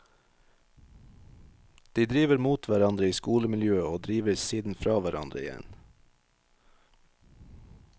De driver mot hverandre i skolemiljøet og driver siden fra hverandre igjen.